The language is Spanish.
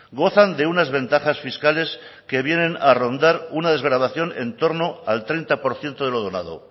gozan de unas ventajas fiscales que vienen a rondar una desgravación entorno al treinta por ciento de lo donado